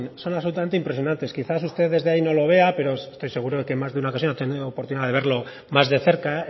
son absolutamente impresionantes quizás usted desde ahí no lo vea pero estoy seguro que en más de una ocasión ha tenido oportunidad de verlo más de cerca